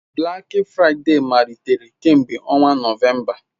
Black Friday malitere kemgbe ọnwa Nọvemba.